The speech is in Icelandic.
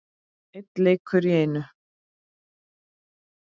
Einn leikur í einu.